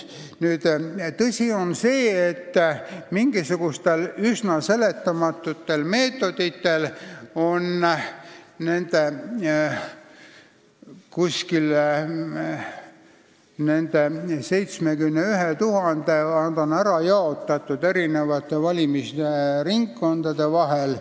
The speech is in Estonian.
Tõsi on see, et need 71 000 inimest on ära jaotatud eri valimisringkondade vahel.